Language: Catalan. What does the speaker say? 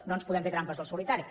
no ens podem fer trampes al solitari